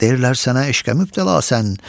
Deyirlər sənə eşqə mübtəlasən,